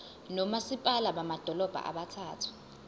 nomasipala bamadolobha abathathu